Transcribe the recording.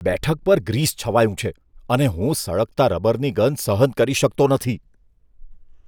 બેઠક પર ગ્રીસ છવાયું છે અને હું સળગતા રબરની ગંધ સહન કરી શકતો નથી.